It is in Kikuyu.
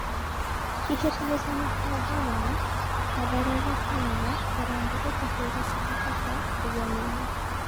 Kĩhĩtahĩtano gĩa Ngavana: Mathare gwĩka wega Harambe ĩkĩhũra Sofapaka ũgeninĩ.